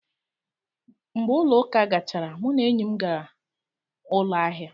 Mgbe ụlọ ụka gachara, mụ na enyi m gara ụlọ ahịa